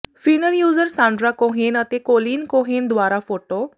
ਫਿਨਰ user Sandra Cohen ਅਤੇ Colleen Cohen ਦੁਆਰਾ photo